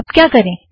अब क्या करें